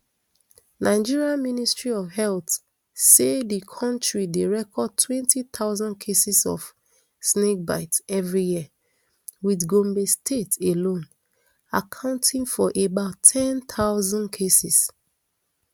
nigeria ministry of health say di kontri dey record twenty thousand cases of snakebite everi year wit gombe state alone accounting for about ten thousand cases